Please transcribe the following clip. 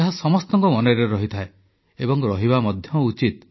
ଏହା ସମସ୍ତଙ୍କ ମନରେ ରହିଥାଏ ଏବଂ ରହିବା ମଧ୍ୟ ଉଚିତ